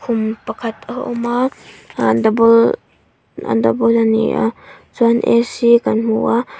khum pakhat a awma uh double double ania chuan a c kan hmu a--